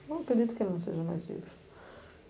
Eu acredito que ele não seja mais vivo.